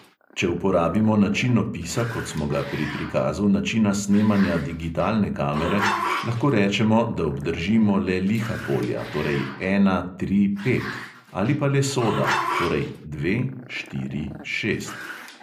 Če uporabimo način opisa, kot smo ga pri prikazu načina snemanja digitalne kamere, lahko rečemo, da obdržimo le liha polja, torej ena, tri, pet ... ali pa le soda, torej dva, štiri, šest.